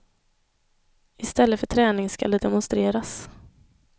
Istället för träning skall det demonstreras.